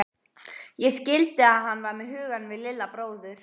Ég skildi að hann var með hugann við Lilla bróður.